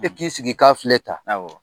I k'i sigi i k'a filɛ tan